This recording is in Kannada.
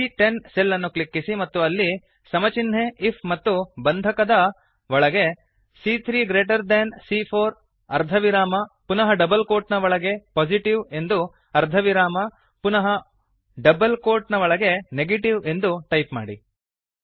ಸಿಎ10 ಸೆಲ್ ಅನ್ನು ಕ್ಲಿಕ್ಕಿಸಿ ಮತ್ತು ಅಲ್ಲಿ ಸಮ ಚಿನ್ಹೆ ಐಎಫ್ ಮತ್ತು ಬಂಧಕದ ಬ್ರೇಸಸ್ ಒಳಗೆ ಸಿಎ3 ಗ್ರೇಟರ್ ದೆನ್ ಸಿಎ4 ಅರ್ಧವಿರಾಮ ಪುನಃ ಡಬಲ್ ಕೋಟ್ ನ ಒಳಗೆ ಪೊಸಿಟಿವ್ ಎಂದು ಅರ್ಧವಿರಾಮ ಮತ್ತು ಪುನಃ ಡಬಲ್ ಕೋಟ್ ನ ಒಳಗೆ Negativeಎಂದು ಟೈಪ್ ಮಾಡಿ